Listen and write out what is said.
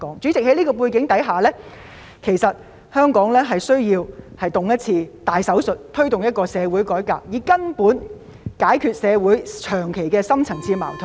主席，在這個背景下，香港需要接受一次大手術，推動社會改革，根本解決長期存在的深層次矛盾......